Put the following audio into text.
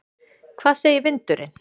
Hvað segir vindurinn?